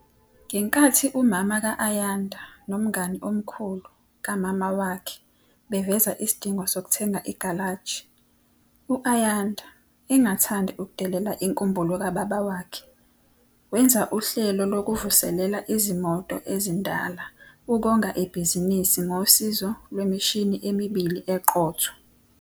Ngenkathi umama ka-Ayanda nomngani omkhulu kamama wakhe beveza isidingo sokuthengisa igalaji, u-Ayanda, engathandi ukudedela inkumbulo kababa wakhe, wenza uhlelo lokuvuselela izimoto ezindala ukonga ibhizinisi ngosizo lwemishini emibili eqotho.